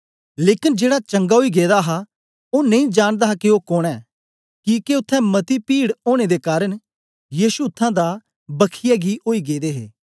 लेकन जेड़ा चंगा ओई गेदा हा ओ नेई जानदा हा के ओ कोन ऐ किके उत्थें मती पीड़ ओनें दे कारन यीशु उत्थां दा बखियै गी ओई गेदे हा